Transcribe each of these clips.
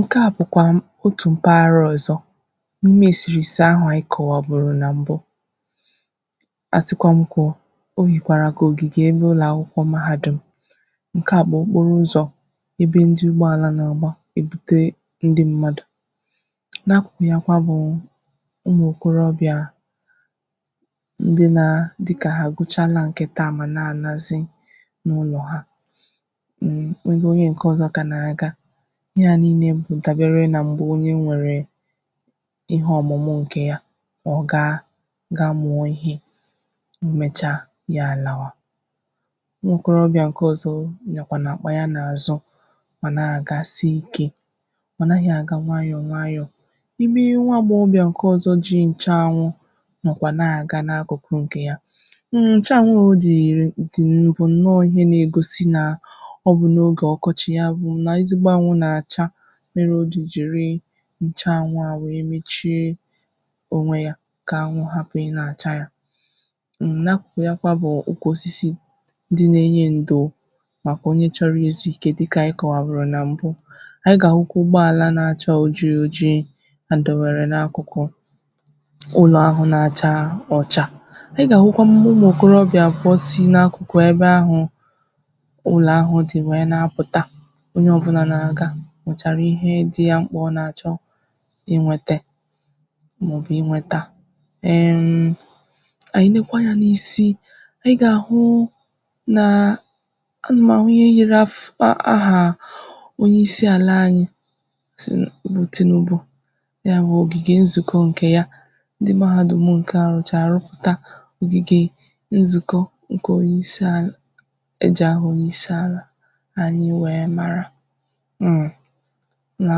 Nke à bụ̀kwam otù mpaghara ọzọ̀ n’ime eserese ahụ̀ anyị kọwaburu na mbụ̀ a sịkwa m kwuo o yirkwarà ka ogigè ụlọ akwụkwọ̀ mahadum nke à bụ̀ okporo ụzọ̀ ebe ndị̀ ụgḅalà n’agbà ebutee ndị mmadụ̀ n’akụkụ yakwà bụụ ụmụ okorobịà ndị naa, dịkà ha agụchalà nke taa ma na anazì n’ụlọ̀ ha m ebe onye nke ọzọ̀ ka na-agà ihe à niine bụ̀ dabere na mgbe onye nwere ihe ọmụmụ̀ nke yà ọ gaa ga-mụọ ihe mmecha ya alawà nwokorobịà nke ọzọ̀ nyakwanụ̀ akpà ya n’àzụ̀ ma na-agasị ike mana ha na-aga nwayọ̀ nwayọ̀ ime nwa agbọghọbịà nke ọzọ̀ ji nchaanwụ̀ nọkwà na-aga n’akụkụ̀ nke yà m na nchaanwụ̀ dị ire, di bụ̀ nọọ ihe na-egosì na ọ bụ n’oge ọkọchị̀ ya bụ̀ n’ezigbo anwụ̀na-achà mere o ji jirii nchaanwụ̀ àwee mechie onwe yà ka anwụ̀ hapụ̀ ị na-acha yà m n’akụkụ yakwà bụ̀ oke osisi dị na-enye ndò makwà onye chọrọ̀ izuike dịkà anyị̀ kọwaburu na mbụ̀ anyị̀ ga-ahụkwà ụgbọalà na-achà oji ojii ha ndewere n’akụkụ̀ ụlọ ahụ̀ na-achà ọchà ị ga-ahụkwà ụmụ ụmụ okokorobịà kpọsị̀ n’akụkụ̀ ebe ahụ̀ ụlọ̀ ahụ dị̀ wee na-apụtà onye ọbụnà na-agà mụtaràihe dị ya m̄kpà ọ na-achọ̀ inwete maọ̀bụ̀ inwetà ehmm anyị nekwà anya n’isi ị ga-ahụụ naa a na m ahụ ihe yiri afụ a ahaa onye isi alà anyị si rute n’ugbo ya bụ̀ ogige nzuko nke yà ndị̀ mahadum nke à rụcharà rụpụtà ogigee nzuko nke onye isi alà e ji ahụ onye isi alà anyị wee marà mm ụlọ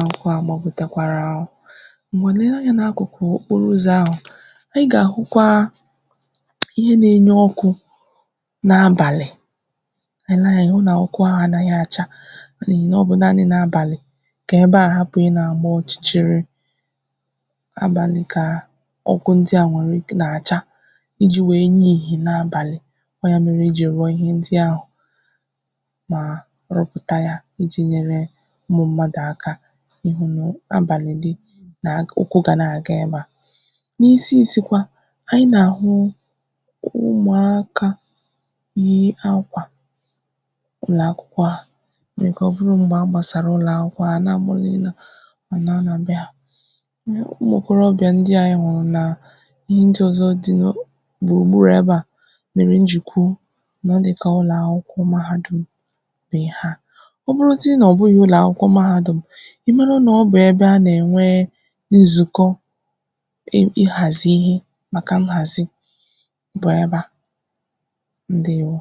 akwụkwọà gbagotakwara o o ngwanụ̀ lee anya n’akụkụ̀ okporo ụzọ̀ ahụ anyị ga-ahụkwaa ihe na-enye ọkụ n’abalị̀ anyị nee anya, anyị hụ na ọkụ ahụ anaghị̀ achà n’ihi na ọ bụ naanị̀ n’abalị̀ ka ebe à hapụ̀ ịna agba ọchịchịrị̀ abalị kaa ọkụ ndị à nwere ike n’achà iji wee nye ihi n’abalị̀ ọ yà mere e ji rụọ ihe ndị ahụ maa rụpụtà yà iji nyere ụmụ mmadụ̀ akà ịhụ na abalị̀ dị n’ụkwụ ga na-aga ebe à n’isi isi kwà anyị na-ahụụ ụmụakà yii akwà ụlọ̀ akwụkwọ ha o nwere ike ọbụrụ m̄gbe agbasara ụlọ akwụkwọ a nagboli ịna a naa n’be ha mụ ụmụ okorobịà ndị à anyị hụrụ na ihe ndị ọzọ̀dị nò gburugburu ebe à mere m ji kwuo na ọdịkà ụlọakwụkwọ mahadum bē ha ọ bụrụzị̀ na ọ bụghị ụlọakwụkwọ mahadum ị marà na ọ bụ̀ ebe a na-enwee nzùko ịm ịhazi ihe makà nhazì bụ̀ ebe à. Ndewo!